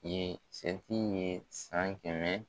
ye san kɛmɛ